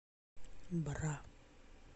бра